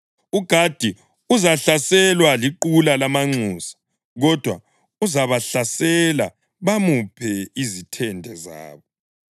UGadi uzahlaselwa liqula lamanxusa, kodwa uzabahlasela bamuphe izithende zabo.